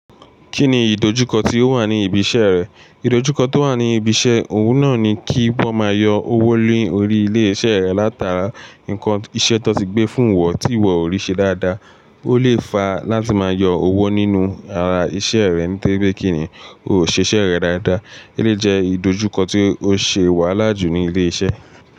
Kí ni ìdojúkọ tí ó wà ní ibi iṣẹ́ rẹ? Ìdojúkọ tí ó wà ní ibi iṣẹ́, òun náà ni kí wọ́n máa yọ owó lórí iléeṣẹ́ rẹ látara nǹkan iṣẹ́ tó ti gbé fún ìwọ tí ìwọ ò ríṣe dáadáa. Ó lè fà á láti máa yọ owó nínú ara iṣẹ́ rẹ nítorí pe kí ni, o ò ṣe iṣẹ́ rẹ dáadáa. E lè jẹ́ ìdojúkọ tí ó ṣe wàhálà jù ní ilé iṣẹ́.